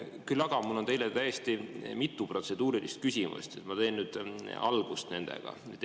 Küll aga on mul teile mitu täiesti protseduurilist küsimust, ma teen nendega algust.